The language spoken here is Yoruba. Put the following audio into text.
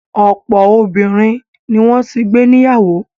Ọ̀pọ̀ obìnrin ni wọ́n ti gbé níyàwó.